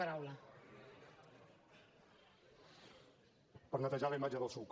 per netejar la imatge del psuc